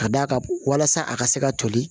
Ka d'a kan walasa a ka se ka toli